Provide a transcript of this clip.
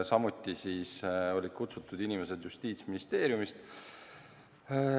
Samuti olid kutsutud inimesed Justiitsministeeriumist.